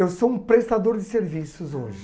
Eu sou um prestador de serviços hoje.